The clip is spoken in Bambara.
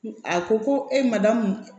A ko ko e ma dadamu